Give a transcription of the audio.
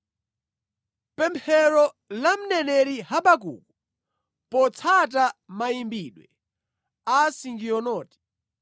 Pemphero la mneneri Habakuku potsata mayimbidwe a Sigionoti.